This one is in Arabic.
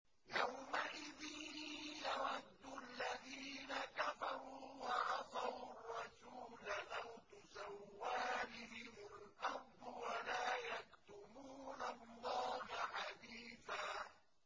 يَوْمَئِذٍ يَوَدُّ الَّذِينَ كَفَرُوا وَعَصَوُا الرَّسُولَ لَوْ تُسَوَّىٰ بِهِمُ الْأَرْضُ وَلَا يَكْتُمُونَ اللَّهَ حَدِيثًا